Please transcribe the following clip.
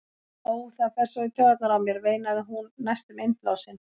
Ó, það fer svo í taugarnar á mér, veinaði hún næstum innblásin.